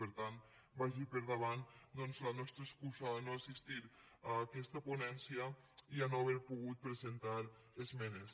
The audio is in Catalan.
per tant vagi per davant doncs la nostra excusa per no assistir a aquesta ponència i per no haver pogut presentar esmenes